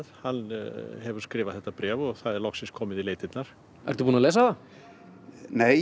hann hefur skrifað þetta bréf og það er loksins komið í leitirnar ertu búinn að lesa það nei